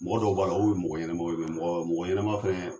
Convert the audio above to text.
Mɔgɔ dɔw b'a la olu ye mɔgɔ ɲɛnɛmaw ye, mɔgɔ mɔgɔ ɲɛnɛma fɛnɛ.